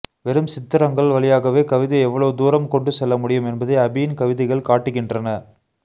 வெறும் சித்திரங்கள் வழியாகவே கவிதை எவ்வளவு தூரம் கொண்டுசெல்லமுடியும் என்பதை அபியின் கவிதைகள் காட்டுகின்றன